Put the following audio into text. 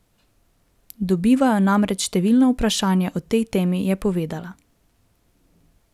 Dobivajo namreč številna vprašanja o tej temi, je povedala.